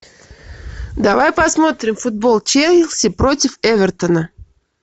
давай посмотрим футбол челси против эвертона